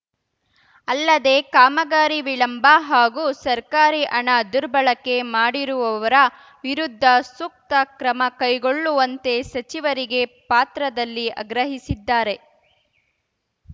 ಅಲ್ಲದೆ ಕಾಮಗಾರಿ ವಿಳಂಬ ಹಾಗೂ ಸರ್ಕಾರಿ ಹಣ ದುರ್ಬಳಕೆ ಮಾಡಿರುವವರ ವಿರುದ್ಧ ಸೂಕ್ತ ಕ್ರಮ ಕೈಗೊಳ್ಳುವಂತೆ ಸಚಿವರಿಗೆ ಪಾತ್ರದಲ್ಲಿ ಆಗ್ರಹಿಸಿದ್ದಾರೆ